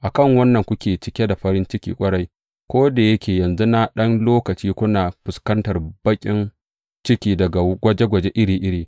A kan wannan kuke cike da farin ciki ƙwarai, ko da yake yanzu na ɗan lokaci kuna fuskantar baƙin ciki daga gwaje gwaje iri iri.